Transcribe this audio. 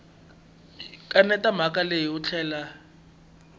kaneta mhaka leyi u tlhela